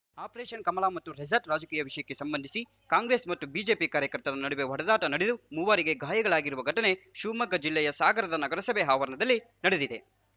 operation Kamala ಮತ್ತು resort ರಾಜಕೀಯ ವಿಷಯಕ್ಕೆ ಸಂಬಂಧಿಸಿ ಕಾಂಗ್ರೆಸ್‌ ಮತ್ತು ಬಿಜೆಪಿ ಕಾರ್ಯಕರ್ತರ ನಡುವೆ ಹೊಡೆದಾಟ ನಡೆದು ಮೂವರಿಗೆ ಗಾಯಗಳಾಗಿರುವ ಘಟನೆ ಶಿವಮೊಗ್ಗ ಜಿಲ್ಲೆಯ ಸಾಗರದ ನಗರಸಭೆ ಆವರಣದಲ್ಲಿ ನಡೆದಿದೆ